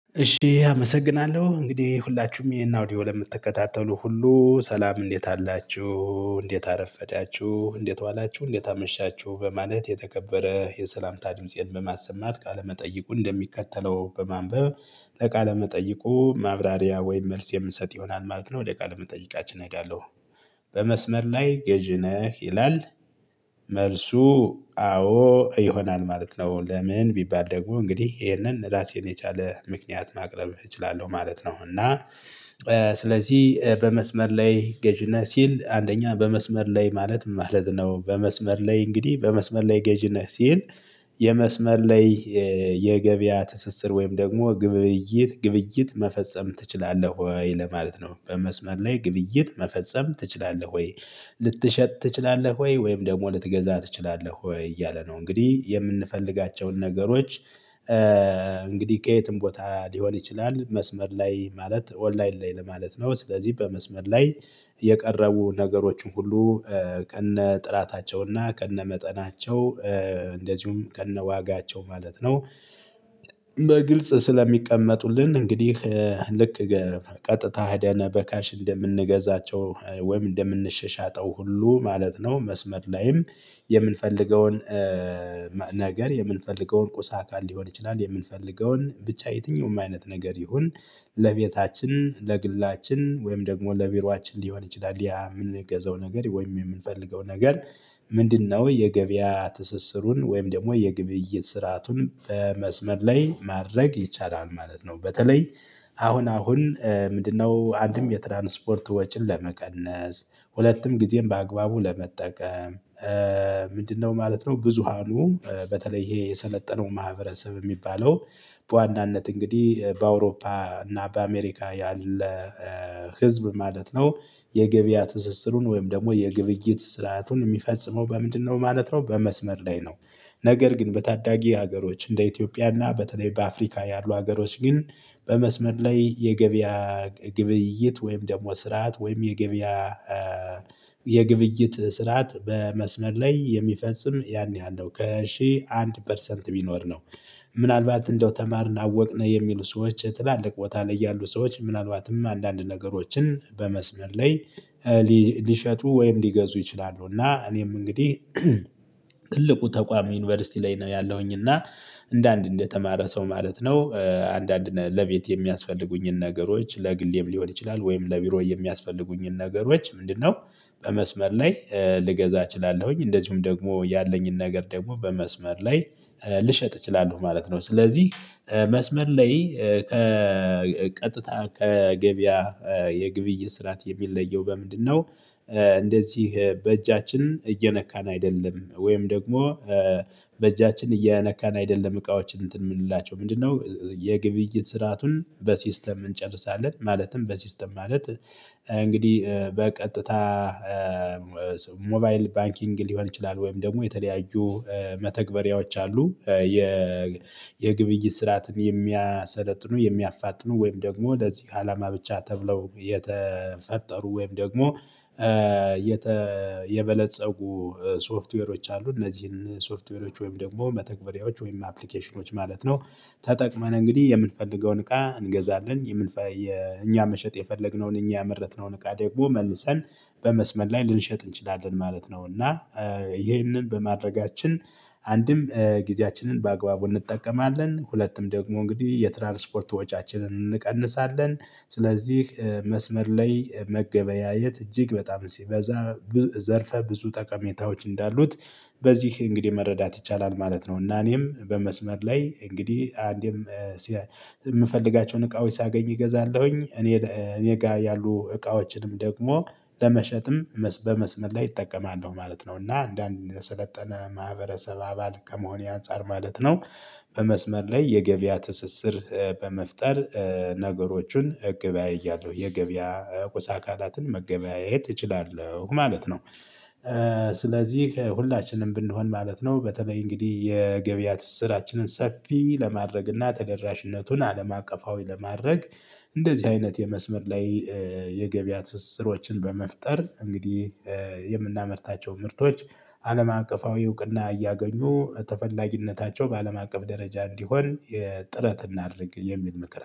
እሺ አመሰግናለሁ እንግዲህ ሁላችሁም ይሄን አውዲዮ ለምትከታተሉ ሁሉ ሰላም እንዴት አላችሁ እንዴት አረፈዳችሁ እንዴት ዋላችሁ እንዴት አመሻችሁ በማለት የተከበረ የሰላምታ ድምፄን በማሰማት ቃለመጠየቁን እንደሚከተለው በማንበብ። ቃለመጠይቁ ማብራሪያ ወይም መልስ የምንሰጥ ይሆናል ማለት ነው ወደ የምንጠይቃችን እሄዳለሁ። በመስመር ላይ ገዢ ነህ ይላል? መልሱ አዎ ይሆናል ማለት ነው። ለምን? ቢባል ደግሞ እንግዲህ ይሄንን ራሴን የቻለ ምክንያት ማቅረብ እችላለሁ ማለት ነው። እና ስለዚህ በመስመር ላይ ገዢ ነህ ሲል አንደኛ በመስመር ላይ ማለት ምን ማለት ነው? በመስመር ላይ እንግዲህ በመስመር ላይ ገዢ ነህ ሲል? የመስመር ላይ የገበያ ትስስር ወይም ደግሞ ግብይት ግብይት መፈጸም ትችላለህ ወይ ለማለት ነው። በመስመር ላይ ግብይት መፈጸም ትችላለህ ወይ? ልትሸጥ ትችላለህ ወይ ወይም ደግሞ ልትገዛ ትችላለህ ወይ እያለ ነው። እንግዲህ የምንፈልጋቸውን ነገሮች። እንግዲህ ከየትም ቦታ ሊሆን ይችላል መስመር ላይ ማለት ኦንላይን ላይ ለማለት ነው። ስለዚህ በመስመር ላይ የቀረቡ ነገሮችን ሁሉ ከነ ጥራታቸውና ከነ መጠናቸው እንደዚሁም ከነ ዋጋቸው ማለት ነው። በግልጽ ስለሚቀመጡልን እንግዲህ። ልክ ቀጥታ ሂደን በካሽ እንደምንገዛቸው ወይም እንደምንሻሻጠው ሁሉ ማለት ነው። መስመር ላይም የምንፈልገውን ነገር የምንፈልገውን ቁስ አካል ሊሆን ይችላል የምንፈልገውን ብቻ የትኛውም አይነት ነገር ይሁን። ለቤታችን ለግላችን ወይም ደግሞ ለቢሮአችን ሊሆን ይችላል ያ የምንገዛው ነገር ወይም የምንፈልገው ነገር። ምንድነው? የገበያ ትስስሩን ወይም ደግሞ የግብይት ስርአቱን በመስመር ላይ ማድረግ ይቻላል ማለት ነው። በተለይ አሁን አሁን ምንድነው? አንድም የትራንስፖርት ወጪን ለመቀነስ ሁለቱም ጊዜም በአግባቡ ለመጠቀም። ምንድንነው ማለት ነው? ብዙሃኑ በተለይ ይሄ የሰለጠነው ማህበረሰብ የሚባለው በዋናነት እንግዲህ በአውሮፓ እና በአሜሪካ ያለ ህዝብ ማለት ነው። የገበያ ትስስሩን ወይም ደግሞ የግብይት ስርዓቱን የሚፈጽመው በምንድነው? ማለት ነው በመስመር ላይ ነው። ነገር ግን በታዳጊ ሀገሮች እንደ ኢትዮጵያና በተለይ በአፍሪካ ያሉ ሀገሮች ግን በመስመር ላይ የገበያ ግብይት ወይም ደግሞ ስርዓት ወይም የገበያ የግብይት ስርዓት በመስመር ላይ የሚፈጽም ያን ያህል ነው ከሺህ አንድ ፐርሰንት ቢኖር ነው። ምናልባት እንደው ተማርን አወቅነ የሚሉ ሰዎች ትላልቅ ቦታ ላይ ያሉ ሰዎች ምናልባትም አንዳንድ ነገሮችን በመስመር ላይ ሊሸጡ ወይም ሊገዙ ይችላሉ። እና እኔም እንግዲህ ትልቁ ተቋም ዩኒቨርሲቲ ላይ ነው። ያለሁኝ እና እንደ አንድ እንደተማረ ሰው ማለት ነው። አንዳንድ ለቤት የሚያስፈልጉኝን ነገሮች ለግሌም ሊሆን ይችላል ወይም ለቢሮ የሚያስፈልጉኝን ነገሮች ምንድነው? በመስመር ላይ ልገዛ እችላለሁኝ እንደዚሁም ደግሞ ያለኝን ነገር ደግሞ በመስመር ላይ ልሸጥ እችላለሁ ማለት ነው። ስለዚህ መስመር ላይ ከቀጥታ ከገበያ የግብይ ስርዓት የሚለየው በምንድነው? እንደዚህ በእጃችን እየነካን አይደለም ወይም ደግሞ በእጃችን እየነካን አይደለም እቃዎች እንትን የምንላቸው ምንድነው የግብይት ስርአቱን በሲስተም እንጨርሳለን። ማለትም በሲስተም ማለት እንግዲህ በቀጥታ ሞባይል ባንኪንግ ሊሆን ይችላል። ወይም ደግሞ የተለያዩ መተግበሪያዎች አሉ። የ የግብይ ስርዓትን የሚያሰለጥኑ የሚያፋጥኑ ወይም ደግሞ ለዚህ አላማ ብቻ ተብለው የተፈጠሩ ወይም ደግሞ የበለፀጉ ሶፍትዌሮች አሉ እነዚህን ሶፍትዌሮች ወይም ደግሞ መተግበሪያዎች ወይም አፕሊኬሽኖች ማለት ነው። ተጠቅመን እንግዲህ የምንፈልገውን እቃ እንገዛለን የምንፈልገው እኛ መሸጥ የፈለግነውን እኛ ያመረትነውን እቃ ደግሞ መልሰን በመስመር ላይ ልንሸጥ እንችላለን ማለት ነው። እና ይህንን በማድረጋችን አንድም ጊዜያችንን በአግባቡ እንጠቀማለን ሁለቱም ደግሞ እንግዲህ የትራንስፖርት ወጪአችንን እንቀንሳለን። ስለዚህ መስመር ላይ መገበያየት እጅግ በጣም ሲበዛ ዘርፈ ብዙ ጠቀሜታዎች እንዳሉት በዚህ እንግዲህ መረዳት ይቻላል ማለት ነው። እና እኔም በመስመር ላይ እንግዲህ አንዴም እምፈልጋቸውን እቃዎች ሳገኝ እገዛለሁኝ እኔ እኔ ጋር ያሉ እቃዎችንም ደግሞ ለመሸጥም በመስመር ላይ እጠቀማለሁ ማለት ነው። እና አንደ አንድ የሰለጠነ ማህበረሰብ አባል ከመሆኔ አንፃር ማለት ነው። በመስመር ላይ የገበያ ትስስር በመፍጠር ነገሮችን እገበያያለሁ የገበያ ቁሳ አካላትን መገበያየት እችላለሁ ማለት ነው። ስለዚህ ሁላችንም ብንሆን ማለት ነው በተለይ እንግዲህ የገበያ ትስስራችንን ሰፊ ለማድረግ እና ተደራሽነቱን አለም አቀፋዊ ለማድረግ እንደዚህ አይነት የመስመር ላይ የገበያ ትስስሮችን በመፍጠር እንግዲህ የምናመርታቸው ምርቶች አለም አቀፋዊ እውቅና እያገኙ ተፈላጊነታቸው በአለም አቀፍ ደረጃ እንዲሆን የ ጥረት እናድርግ። የሚል ምክር